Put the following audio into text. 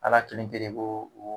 Ala kelen pe de b'o o